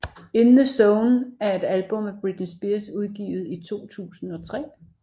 In The Zone er et album af Britney Spears udgivet i 2003